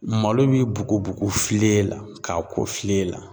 Malo bɛ bugu bugu file la k'a ko file la.